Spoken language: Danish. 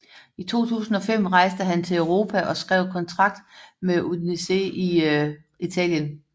I 2005 rejste han til Europa og skrev kontrakt med Udinese i Italien